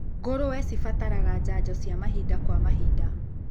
Ngũrũwe cirabatara janjo cia mahinda kwa mahinda.